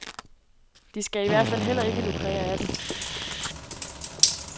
De skal i hvert fald heller ikke lukrere af den.